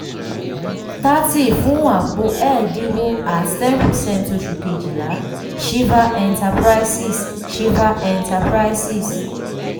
[c] thirty fún àpò ẹ́ẹ̀ẹ́dínwó at ten percent oṣù kejìlá sixteen shiva enterprises shiva enterprises.